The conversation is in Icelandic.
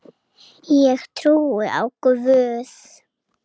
Ég trúi á Guð!